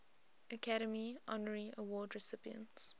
academy honorary award recipients